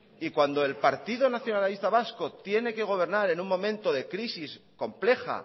y cuando el partido nacionalista vasco tiene que gobernar en un momento de crisis compleja